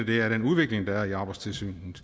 det er den udvikling der er i arbejdstilsynet